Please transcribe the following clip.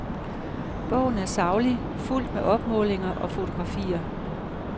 Bogen er saglig, fuldt med opmålinger og fotografier.